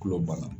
Kulo banna